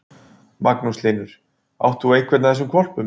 Magnús Hlynur: Átt þú einhvern af þessum hvolpum?